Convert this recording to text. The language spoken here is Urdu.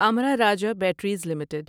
Amra Raja batteries limited